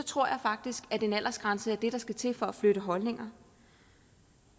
tror jeg faktisk at en aldersgrænse er det der skal til for at flytte holdninger